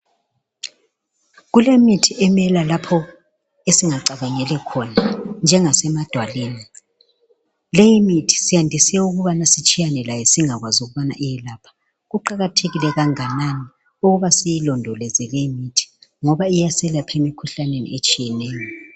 Kulemithi emila lapho esingacabangeli khona, njengasemadwaleni. Leyimithi siyandise ukubana sitshiyane layo singakwazi ukubana iyelapha. Kuqakathekile kanganani ukuba siyilondoloze leyi mithi, ngoba iyaselapha emikhuhlaneni eminengi.